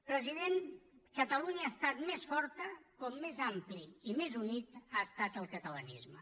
president catalunya ha estat més forta com més ampli i més unit ha estat el catalanisme